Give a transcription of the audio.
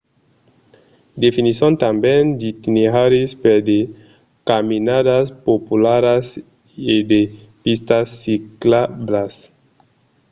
definisson tanben d‘itineraris per de caminadas popularas e de pistas ciclablas